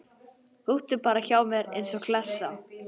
Húkti bara hjá mér eins og klessa.